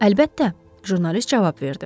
"Əlbəttə," jurnalist cavab verdi.